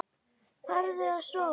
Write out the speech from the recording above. Farðu að sofa.